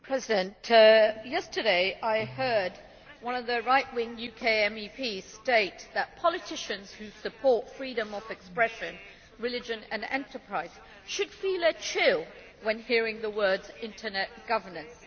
Mr President, yesterday I heard one of the right wing UK MEPs state that politicians who support freedom of expression, religion and enterprise should feel a chill when hearing the words internet governance'.